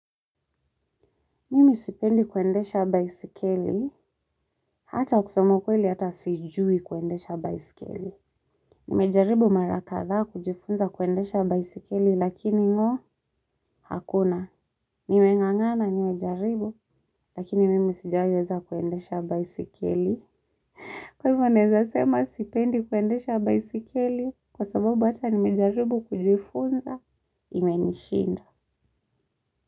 Mimi sipendi kuendesha baisikeli, hata kusoma ukweli hata sijui kuendesha baiskeli. Nimejaribu mara kadhaa kujifunza kuendesha baisikeli lakini ngo, hakuna. Nime ngangana nimejaribu, lakini mimi sijaiweza kuendesha baisikeli. Kwa hivo naeza sema sipendi kuendesha baisikeli, kwa sababu hata nimejaribu kujifunza, imenishinda.